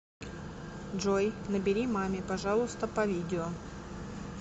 джой набери маме пожалуйста по видео